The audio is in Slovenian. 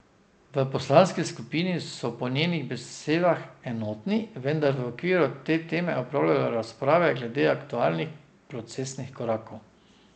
V poslanski skupini so po njenih besedah enotni, vendar v okviru te teme opravljajo razprave glede aktualnih procesnih korakov.